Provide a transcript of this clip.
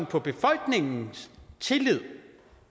på befolkningens tillid